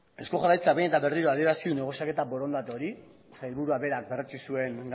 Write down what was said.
eusko jaurlaritzak behin eta berriro adierazi du negoziaketa borondate hori sailburuak berak berretsi zuen